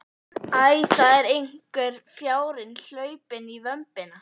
Æ, það er einhver fjárinn hlaupinn í vömbina.